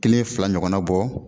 Kelen fila ɲɔgɔnna bɔ